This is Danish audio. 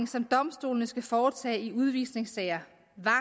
som domstolene skal foretage i udvisningssager